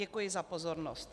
Děkuji za pozornost.